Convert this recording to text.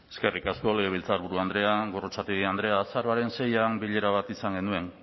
eskerrik asko legebiltzarburu andrea gorrotxategi andrea azaroaren seian bilera bat izan genuen